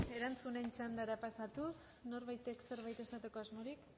erantzunen txandara pasatuz norbaitek zerbait esateko asmorik